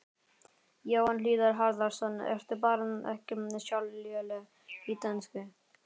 Jóhann Hlíðar Harðarson: Ertu bara ekki sjálf léleg í dönsku?